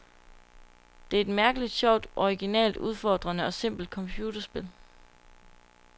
Det er et mærkeligt, sjovt, originalt, udfordrende og simpelt computerspil.